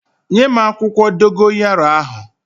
Nyem akwukwo dogoyaro ahu!